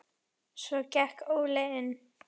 Svo gekk Óli inn.